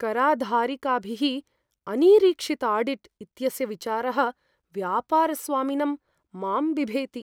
कराधिकारिभिः अनिरीक्षिताडिट् इत्यस्य विचारः व्यापारस्वामिनं मां बिभेति।